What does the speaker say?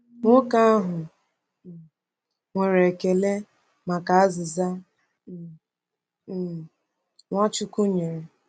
Nwoke ahụ um nwere ekele maka azịza um um Nwachukwu nyere.